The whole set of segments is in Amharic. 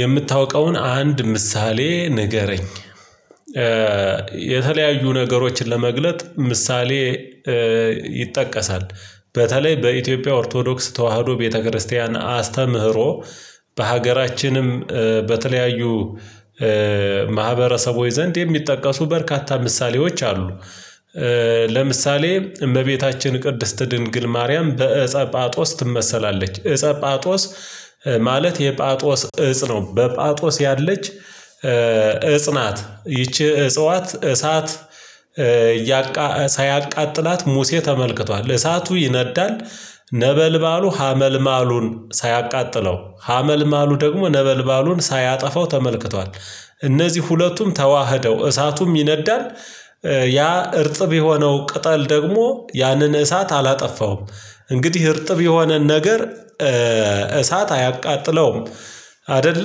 የምታውቀውን አንድ ምሳሌ ንገረኝ? የተለያዩ ነገሮችን ለመግለጥ ምሳሌ ይጠቀሳል በተለይ በኢትዮጵያ ኦርቶዶክስ ተዋህዶ ቤተክርስቲያን አስተምህሮ በሀገራችንም በተለያዩ ማህበረሰቦች ዘንድ የሚጠቀሱ በርካታ ምሳሌዎች አሉ ለምሳሌ እመቤታችን ቅድስት ድንግል ማርያም በእፀ ጳጦስ ትመሰላለች እፀ ጳጦስ ማለት የጳጦስ እፅ ነው በጳጦስ ያለች እፅ ናት ይቺ እጽዋት እሳት ሳያቃጥላት ሙሴ ተመልክቷል እሳቱ ይነዳል ነበልባሉ ሀመልማሉን ሳያቃጥለው ሀመልማሉ ደግሞ ነበልባሉን ሳያጠፋው ተመልክቷል እነዚህ ሁለቱም ተዋህደው እሳቱም ይነዳል ያ እርጥብ የሆነው ቅጠል ደግሞ ያንን እሳት አላጠፋውም እንግዲህ እርጥብ የሆነን ነገር እሳት አያቃጥለውም አይደለ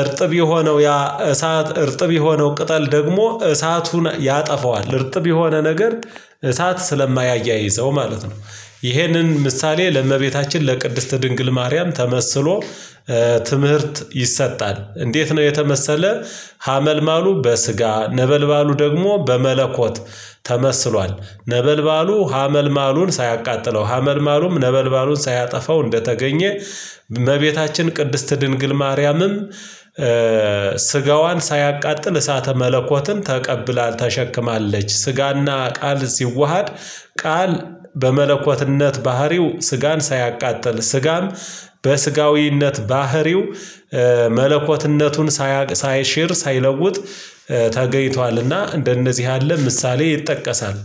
እርጥብ የሆነው ያ እሳት እርጥብ የሆነው ቅጠል ደግሞ እሳቱን ያጠፋዋል እርጥብ የሆነ ነገር እሳት ስለማያያይዘው ማለት ነው ይሄንን ምሳሌ ለእመቤታችን ለቅድስት ድንግል ማርያም ተመስሎ ትምህርት ይሰጣል እንዴት ነው የተመሰለ ሀመልማሉ በስጋ ነበልባሉ ደግሞ በመለኮት ተመስሏል ነበልባሉ ሀመልማሉን ሳያቃጥለው ሀመልማሉም ነበልባሉን ሳያጠፋው እንደተገኘ እመቤታችን ቅድስት ድንግል ማርያምም ስጋዋን ሳያቃጥል እሳተ መለኮትን ተቀብላ ተሸክማለች ስጋና ቃል ሲዋሃድ ቃል በመለኮትነት ባህሪው ስጋን ሳያቃጥል ስጋም በስጋዊነት ባህሪው መለኮትነቱን ሳያቅ ሳይሸር ሳይለውጥ ተገይቷልና እንደነዚህ ያለ ምሳሌ ይጠቀሳል